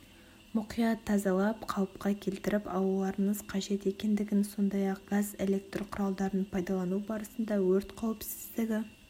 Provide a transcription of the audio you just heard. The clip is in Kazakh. мұқият тазалап қалыпқа келтіріп алуларыңыз қажет екендігін сондай-ақ газ электр құралдарын пайдалану барысында өрт қауіпсіздігі